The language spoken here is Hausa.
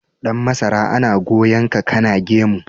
Dan masara ana goyon ka kana gemu.